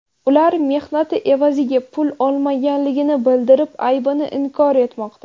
Ular mehnati evaziga pul olmaganligini bildirib, aybini inkor etmoqda.